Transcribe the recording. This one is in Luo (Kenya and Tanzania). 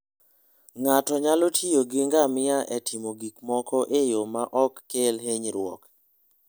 Ng'ato nyalo tiyo gi ngamia e timo gik moko e yo ma ok kel hinyruok.